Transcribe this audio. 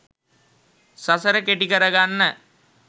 සසර කෙටි කරගන්න